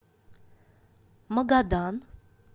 магадан